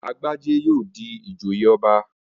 Agbájé yóò di ìjòyè ọba